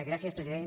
gràcies president